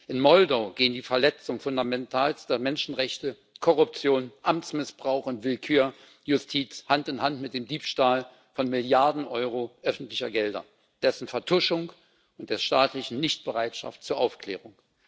In Moldau gehen die Verletzungen fundamentalster Menschenrechte, Korruption, Amtsmissbrauch und Willkür der Justiz Hand in Hand mit dem Diebstahl von Milliarden Euro öffentlicher Gelder, dessen Vertuschung und der staatlichen Nichtbereitschaft zur Aufklärung.